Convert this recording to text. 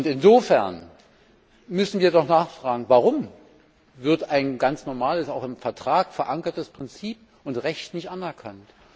Insofern müssen wir doch nachfragen, warum wird ein ganz normales, auch im Vertrag verankertes Prinzip und Recht nicht anerkannt?